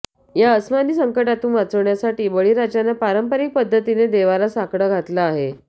या अस्मानी संकटातून वाचवण्यासाठी बळीराजानं पारंपरिक पद्धतीनं देवाला साकडं घातलं आहे